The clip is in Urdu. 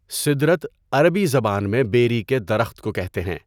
سِدْرَۃ عربی زبان میں بیری کے درخت کو کہتے ہیں۔